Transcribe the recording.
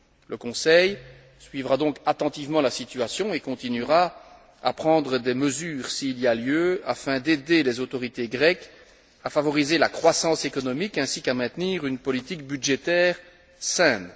Le Conseil suivra donc attentivement la situation et continuera à prendre des mesures s'il y a lieu afin d'aider les autorités grecques à favoriser la croissance économiques et à maintenir une politique budgétaire saine.